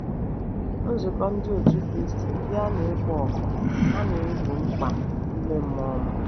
Nzukọ Ndị Otú Kristi ndị a na-ekpo ọkụ, ha na-egbo mkpa ime mmụọ m.